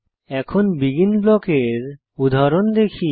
এখন বেগিন ব্লকের উদাহরণ দেখি